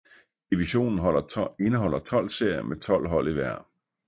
Divisionen indeholder 12 serier med 12 hold i hver